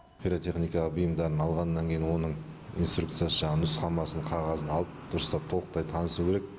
пиротехника бұйымдарын алғаннан кейін оның инструкциясы жаңағы нұсқамасын қағазын алып дұрыстап толықтай танысу керек